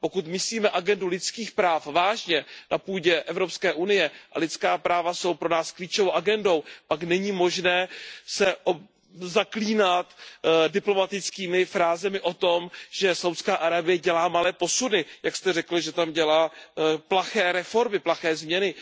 Pokud myslíme agendu lidských práv vážně na půdě Evropské unie a lidská práva jsou pro nás klíčovou agendou pak není možné se zaklínat diplomatickými frázemi o tom, že Saúdská Arábie dělá malé posuny, jak jste řekl, že tam dělá plaché reformy, plaché změny.